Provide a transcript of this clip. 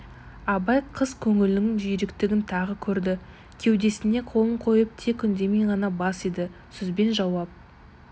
абай қыз көңілінің жүйріктігін тағы көрді кеудесіне қолын қойып тек үндемей ғана бас иді сөзбен жауап